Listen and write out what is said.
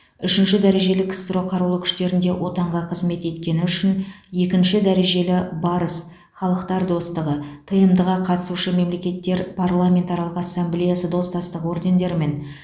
үшінші дәрежелі ксро қарулы күштерінде отанға қызмет еткені үшін екінші дәрежелі барыс халықтар достығы тмд ға қатысушы мемлекеттер парламентаралық ассамблеясы достастығы ордендерімен